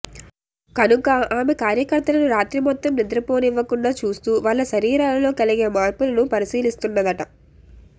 కనుక ఆమె కార్యకర్తలను రాత్రి మొత్తం నిద్రపోనివ్వకుండా చూస్తూ వాళ్ల శరీరాలలో కలిగే మార్పులను పరిశీలిస్తున్నదట